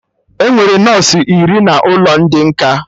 Enwere nọsụ iri n'ụlọ ndị nkà